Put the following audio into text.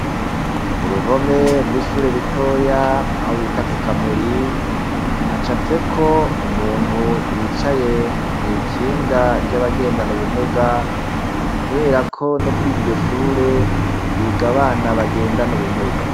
Kuruhome rw ishure ritoya, aho bita kukamuri hacafyek' umuntu yicaye mwikinga rya bagendan' ubumuga, kuberako nokuriryo shure hig' abana bagendan' ubumuga.